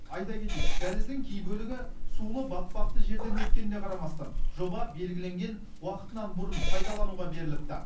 айта кетейік дәліздің кей бөлігі сулы батпақты жерден өткеніне қарамастан жоба белгіленген уақытынан бұрын пайдалануға беріліпті